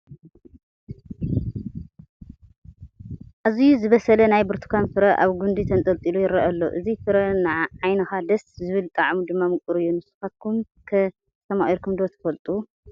ኣዝዩ ዝበሰለ ናይ ብርቱካን ፍረ ኣብ ጒንዱ ተንጠልጢሉ ይርአ ኣሎ፡፡ እዚ ፍረ ንዓይንኻ ደስ ዝብል ጣዕሙ ድማ ምቑር እዩ፡፡ ንስኻትኮም ከ ኣስተማቒርኩምዎ ዶ ትፈልጡ?